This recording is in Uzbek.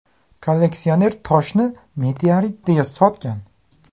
Kolleksioner toshni meteorit deya sotgan.